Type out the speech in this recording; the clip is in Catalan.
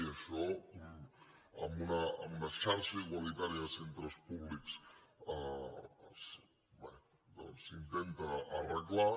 i ai·xò en una xarxa igualitària de centres públics doncs s’intenta arreglar